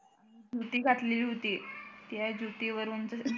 जुती घातली होती त्या जुती वरून